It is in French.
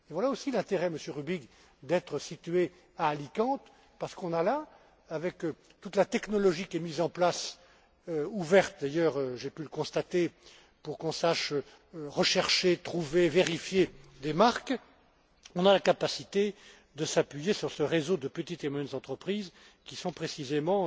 Voilà aussi l'intérêt, Monsieur Rübig, d'être situé à Alicante, parce qu'on a là, avec toute la technologie qui est mise en place ouverte d'ailleurs, j'ai pu le constater, pour qu'on sache rechercher, trouver, vérifier des marques on a la capacité de s'appuyer sur ce réseau de petites et moyennes entreprises qui sont précisément